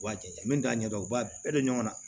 U b'a jate minɛ a ɲɛ dɔn u b'a bɛɛ don ɲɔgɔn na